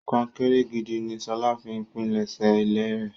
Kọ́ńkẹ́rẹ́ gídí ni Ṣọlá fi pínlesé ilẹ̀rẹ̀.